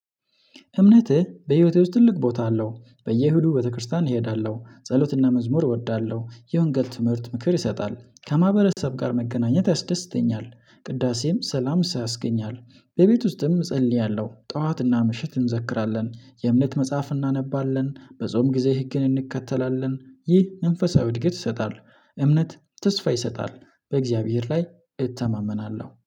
እምነትህ በህይወቴ ውስጥ ትልቅ ቦታ አለው በየ ኢሁዱ ቤተክርስቲያን እሄዳለሁ ጸሎትና መዝሙር እወዳለሁ የወንገል ትምህርት ምክር ይሰጣል ከማህበረሰብ ጋር መገናኘት ያስደስተኛል። ቅዳሴም ሰላም ሳያስገኞል በቤት ውስጥም እጸልያለሁ ጠዋትና ምሽት እንዘክራለን የእምነት መጽሐፍ እናነባለን በጾም ጊዜ ህግን እንከተላለን ይህ መንፈሳዊ እድገት ይሰጣል። እምነት ተስፋ ይሰጣል በእግዚአብሔር ላይ እተማመናለሁ